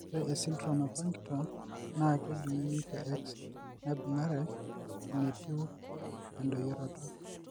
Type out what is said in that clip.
Ore esindirom ePartington naa kejung'uni te X naibung'are enetiu endoyioroto.